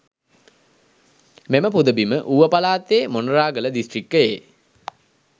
මෙම පුදබිම ඌව පළාතේ මොනරාගල දිස්ත්‍රික්කයෙ